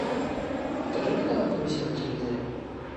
покажи мне канал карусель на телевизоре